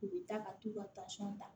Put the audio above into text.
U bɛ taa ka t'u ka ta